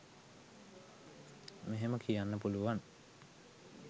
මෙහෙම කියන්න පුළුවන්